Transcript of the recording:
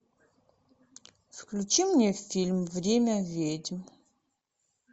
включи мне фильм время ведьм